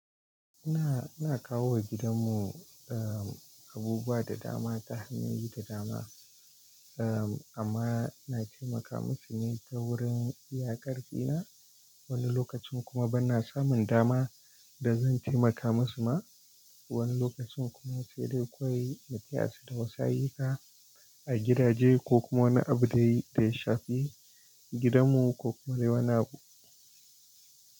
Ina, ina kawo wa gidan mu, uhm, abubuwa da dama ta hanyoyi da dama. Amma ina taimaka musu ne ta wurin iya ƙarfi na. Wani lokacin kuma banna samun dama da zan taimaka musu ma. Wani lokacin kuma sai dai kawai na taya su da wasu ayyuka. A gidaje ko kuma wani abu dai da ya shafi. Gidan mu ko kuma dai wani abu.